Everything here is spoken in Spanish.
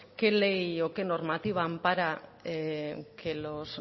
qué ley o qué normativa ampara que los